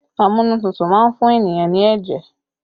Amunututu má ń fún ènìyàn ní ẹ̀jẹ̀